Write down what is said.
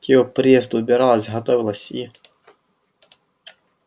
к его приезду убиралась готовилась и